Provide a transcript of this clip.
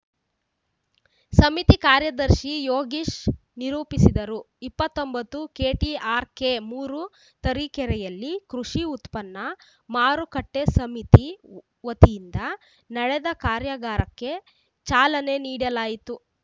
ಸಮಿತಿ ಕಾರ್ಯದರ್ಶಿ ಯೋಗೀಶ್‌ ನಿರೂಪಿಸಿದರು ಇಪ್ಪತ್ತೊಂಬತ್ತು ಕೆಟಿಆರ್‌ಕೆ ಮೂರು ತರೀಕೆರೆಯಲ್ಲಿ ಕೃಷಿ ಉತ್ಪನ್ನ ಮಾರುಕಟ್ಟೆಸಮಿತಿ ವತಿಯಿಂದ ನಡೆದ ಕಾರ್ಯಾಗಾರಕ್ಕೆ ಚಾಲನೆ ನೀಡಲಾಯಿತು